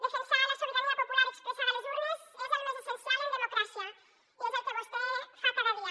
defensar la sobirania popular expressada a les urnes és el més essencial en democràcia i és el que vostè fa cada dia